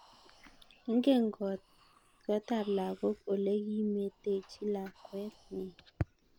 Ingen kot tab lagok ole kimetechi lakwet nyin